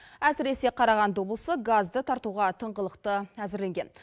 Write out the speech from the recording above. әсіресе қарағанды облысы газды тартуға тыңғылықты әзірленген